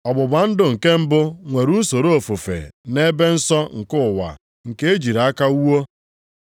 Ọgbụgba ndụ nke mbụ nwere usoro ofufe na ebe nsọ nke ụwa nke a e jiri aka wuo.